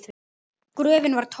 Gröfin var tóm.